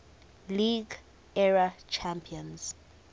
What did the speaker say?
league era champions